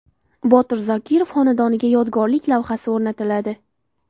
Botir Zokirov xonadoniga yodgorlik lavhasi o‘rnatiladi.